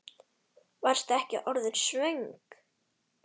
Varstu ekki orðin svöng?